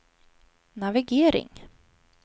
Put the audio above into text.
navigering